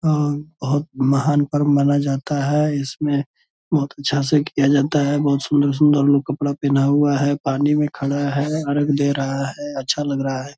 आ बहुत महान पर्ब माना जाता है इसमें बहुत अच्छा से किया जाता है बहुत सुन्दर-सुन्दर लोग कपड़ा पहना हुआ है पानी में खड़ा है अर्घ दे रहा है अच्छा लग रहा है।